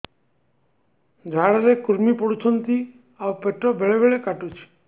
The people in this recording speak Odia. ଝାଡା ରେ କୁର୍ମି ପଡୁଛନ୍ତି ଆଉ ପେଟ ବେଳେ ବେଳେ କାଟୁଛି